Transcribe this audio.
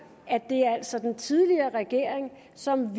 at det altså var den tidligere regering som